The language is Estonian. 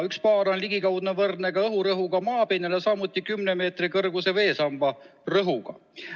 1 baar on ligikaudu võrdne ka õhurõhuga maapinnal, samuti 10 meetri kõrguse veesamba rõhuga.